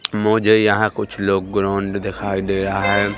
मुझे यहां कुछ लोग ग्राउंड दिखाई दे रहा है।